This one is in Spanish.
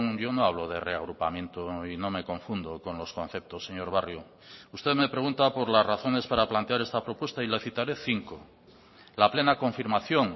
yo no hablo de reagrupamiento y no me confundo con los conceptos señor barrio usted me pregunta por las razones para plantear esta propuesta y le citaré cinco la plena confirmación